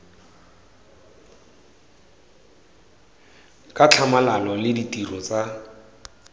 ka tlhamalalo le ditiro tsa